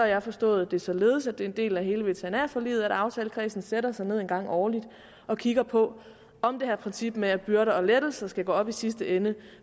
jeg forstået det således at det er en del af hele veterinærforliget at aftalekredsen sætter sig ned en gang årligt og kigger på om det her princip med at byrder og lettelser skal gå op i sidste ende